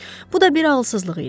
Bu da bir ağılsızlıq idi.